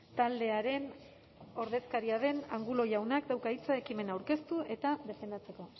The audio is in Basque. taldearen ordezkaria den angulo jaunak dauka hitza ekimena aurkeztu eta defendatzeko